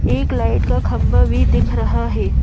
एक लाइट का खंबा भी दिख रहा है।